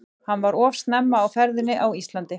Hann var of snemma á ferðinni á Íslandi.